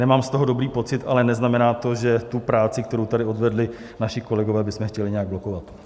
Nemám z toho dobrý pocit, ale neznamená to, že tu práci, kterou tady odvedli naši kolegové, bychom chtěli nějak blokovat.